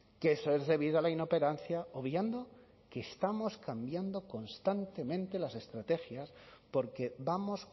que eso es debido a la inoperancia obviando que estamos cambiando constantemente las estrategias porque vamos